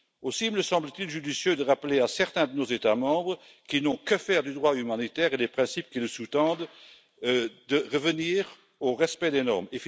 Aussi me semble t il judicieux de demander à certains de nos États membres, qui n'ont que faire du droit humanitaire et des principes qui le sous tendent, de revenir au respect des normes.